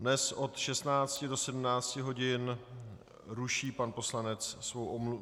Dnes od 16 do 17 hodin ruší pan poslanec Komárek svoji omluvu.